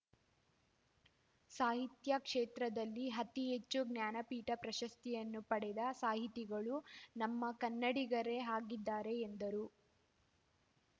ಸಾಹಿತ್ಯ ಕ್ಷೇತ್ರದಲ್ಲಿ ಅತಿಹೆಚ್ಚು ಜ್ಞಾನಪೀಠ ಪ್ರಶಸ್ತಿಯನ್ನು ಪಡೆದ ಸಾಹಿತಿಗಳು ನಮ್ಮ ಕನ್ನಡಿಗರೆ ಆಗಿದ್ದಾರೆ ಎಂದರು